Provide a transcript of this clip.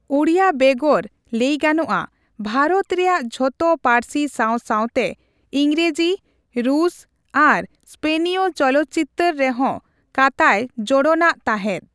ᱳᱲᱤᱭᱟᱹ ᱵᱮᱜᱚᱨ ᱞᱟᱹᱭᱜᱟᱱᱚᱜᱼᱟ ᱵᱷᱟᱨᱚᱛ ᱨᱮᱭᱟᱜ ᱡᱷᱚᱛᱚ ᱯᱟᱹᱨᱥᱤ ᱥᱟᱣ ᱥᱟᱣ ᱛᱮ ᱤᱝᱨᱮᱡᱤ, ᱨᱩᱥ, ᱟᱨ ᱥᱯᱮᱱᱤᱭᱚ ᱪᱚᱞᱚᱛᱪᱤᱛᱟᱹᱨ ᱨᱮᱸᱦᱚ ᱠᱟᱛᱟᱭ ᱡᱳᱲᱳᱱ ᱟᱜ ᱛᱟᱸᱦᱮᱫ ᱾